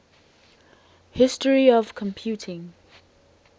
history of computing